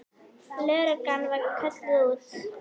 Lögreglan var kölluð út.